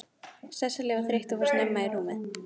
Sesselja var þreytt og fór snemma í rúmið.